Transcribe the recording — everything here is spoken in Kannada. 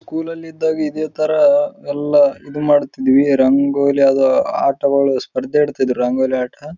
ಸ್ಕೂಲಲ್ಲಿ ಇದ್ದಾಗ ಇದೇ ತರ ಎಲ್ಲ ಮಾಡುತ್ತಿದ್ವಿ ಇದೇ ತರ ರಂಗೋಲಿ ಎಲ್ಲ ಆಟಗಳು ಸ್ಪರ್ಧೆ ಇಡ್ತಾ ಇದ್ದರ ರಂಗೋಲಿ ಆಟ--